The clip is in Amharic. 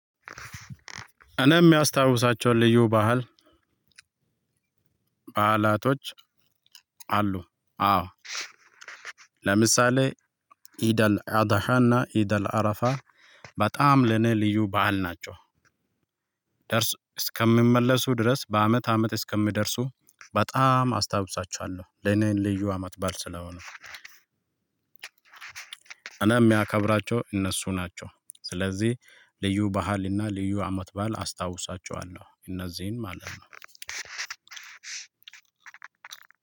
እኔ የማስታውሳቸው ልዩ ባህል ባህላቶች አሉ። አዎ ለምሳሌ ኢድ አልአዳሃና ኢደል አረፋ በጣም ለኔ ልዩ ባህል ናቸው። ደርሶ እስከ ሚመለሱ ድረስ በአመት አመት እስከሚደርሱ በጣም አስታውሳችዋለው ለእኔ ለዩ አማት ባል ስለሆኑ። እና የሚያከብራቸው እነሱ ናቸው ስለዚህ ልዩ ባህልና ልዩ አመት ባዓል አስታውሳቸዋለው እነዚህን ማለት ነው።